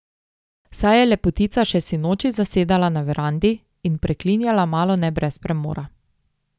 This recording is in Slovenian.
Saj je Lepotica še sinoči zasedala na verandi in preklinjala malone brez premora.